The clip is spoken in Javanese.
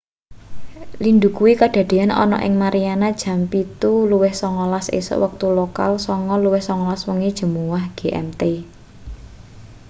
lindhu kuwi kadadeyan ana ing mariana jam 07.19 esuk wektu lokal 09.19 wengi jemuah gmt